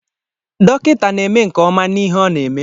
Dọkịta na-eme nke ọma n'ihe ọ na-eme